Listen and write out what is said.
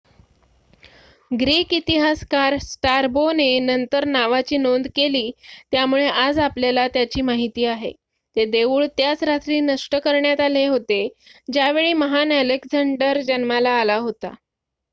Greek इतिहासकार Strabo ने नंतर नावाची नोंद केली त्यामुळे आज आपल्याला त्याची माहिती आहे ते देऊळ त्याच रात्री नष्ट करण्यात आले होते ज्यावेळी महान अलेक्झांडर जन्माला आला होता